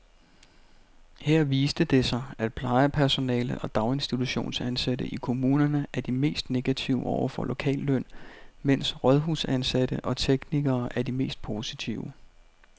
Her viste det sig, at plejepersonale og daginstitutionsansatte i kommunerne er de mest negative over for lokalløn, mens rådhusansatte og teknikere er de mest positive.